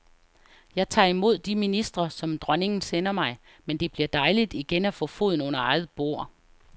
Jeg tager imod de ministre som dronningen sender mig, men det bliver dejligt igen at få foden under eget bord.